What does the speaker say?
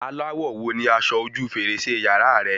Aláwọ̀ wo ni aṣọ ojú fèrèsé yàrá rẹ?